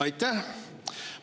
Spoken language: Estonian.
Aitäh!